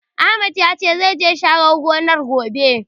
Ahmad ya ce, zai je ya share gonar, gobe.